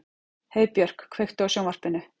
Heiðbjörk, kveiktu á sjónvarpinu.